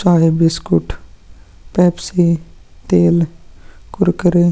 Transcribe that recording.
चाहे biscuit Pepsi तेल कुरकुरे --